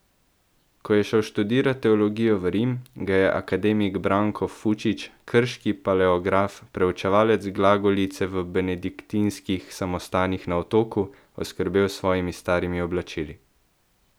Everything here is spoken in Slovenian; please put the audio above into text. Ko je šel študirat teologijo v Rim, ga je akademik Branko Fučić, krški paleograf, preučevalec glagolice v benediktinskih samostanih na otoku, oskrbel s svojimi starimi oblačili.